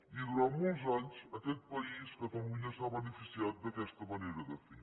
i durant molts anys aquest país catalunya s’ha beneficiat d’aquesta manera de fer